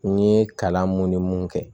N ye kalan mun ni mun kɛ